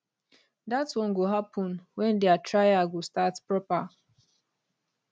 dat one go happen wen dia trial go start proper